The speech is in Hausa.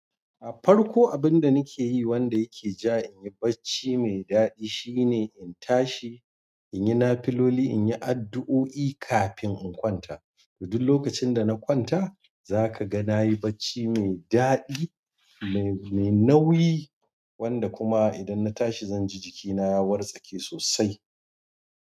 A farko abun da nake yi wanda yake ja inyi bacci mai daɗi shine in tashi, in yi nafiloli, in yi addu'o'i kafin in kwanta. Todu lokacin da na kwanta zaka ga nayi bacci mai daɗi, mai nauyi wanda kuma idan na tashi zan ji jikina ya wartsake sosai.